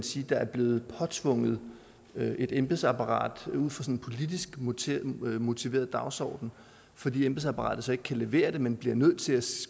sige der er blevet påtvunget et embedsapparat ud fra en politisk motiveret motiveret dagsorden fordi embedsapparatet ikke kan levere det men bliver nødt til at